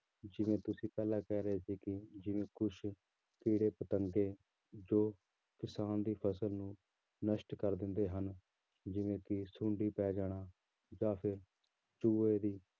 ਜਿਵੇਂ ਤੁਸੀਂ ਪਹਿਲਾਂ ਕਹਿ ਰਹੇ ਸੀ ਕਿ ਜਿਵੇਂ ਕੁਛ ਕੀੜੇ ਪਤੰਗੇ ਜੋ ਕਿਸਾਨ ਦੀ ਫ਼ਸਲ ਨੂੰ ਨਸ਼ਟ ਕਰ ਦਿੰਦੇ ਹਨ ਜਿਵੇਂ ਕਿ ਸੁੰਡੀ ਪੈ ਜਾਣਾ ਜਾਂ ਫਿਰ ਚੂਹੇ ਦੀ